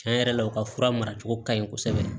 Tiɲɛ yɛrɛ la u ka fura mara cogo ka ɲi kosɛbɛ